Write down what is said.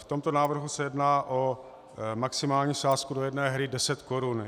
V tomto návrhu se jedná o maximální sázku do jedné hry 10 korun.